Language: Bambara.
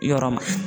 Yɔrɔ ma